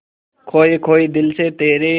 खोए खोए दिल से तेरे